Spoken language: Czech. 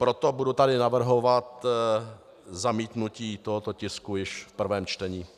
Proto tady budu navrhovat zamítnutí tohoto tisku již v prvém čtení.